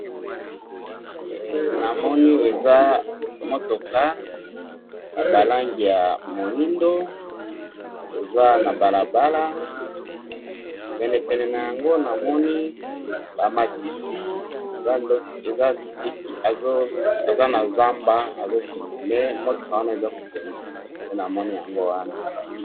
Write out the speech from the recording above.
Na moni ndako ya cabaret na ba kiti ya mabaya na kati na comptoire ya ma baya